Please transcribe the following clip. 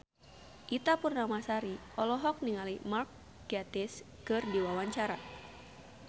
Ita Purnamasari olohok ningali Mark Gatiss keur diwawancara